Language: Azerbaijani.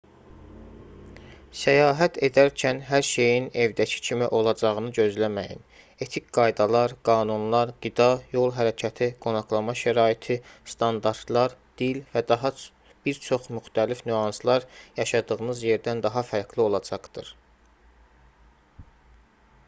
səyahət edərkən hər şeyin evdəki kimi olacağını gözləməyin etik qaydalar qanunlar qida yol hərəkəti qonaqlama şəraiti standartlar dil və daha bir çox müxtəlif nüanslar yaşadığınız yerdən daha fərqli olacaqdır